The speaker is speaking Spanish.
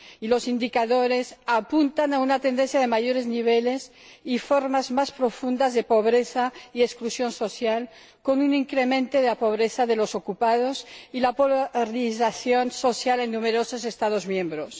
Los indicadores apuntan a una tendencia de mayores niveles y formas más profundas de pobreza y exclusión social, con un incremento de la pobreza de los ocupados y la polarización social en numerosos Estados miembros.